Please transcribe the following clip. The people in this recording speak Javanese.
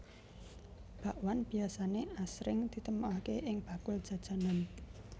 Bakwan biasané asring ditemokaké ing bakul jajanan